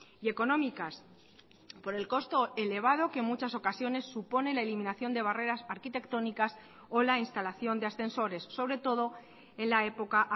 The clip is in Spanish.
y económicas por el costo elevado que en muchas ocasiones supone la eliminación de barreras arquitectónicas o la instalación de ascensores sobre todo en la época